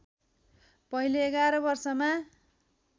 पहिले ११ वर्षमा